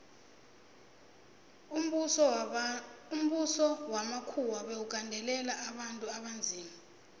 umbuso wamakhuwa bewugandelela abantu abanzima